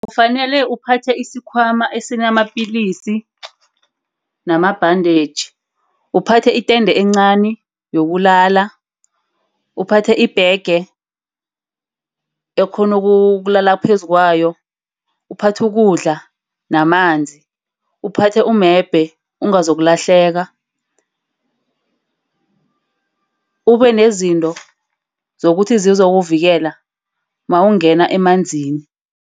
Ufanele uphathe isikhwama esinamapilisi namabhandetjhi. Uphathe itende encani yokulala. Uphathe ibhege okghona ukulala phezu kwayo. Uphathe ukudla namanzi. Uphathe umebhe, ungazokulahleka. Ube nezinto zokuthi zizokuvikela nawungena emanzini.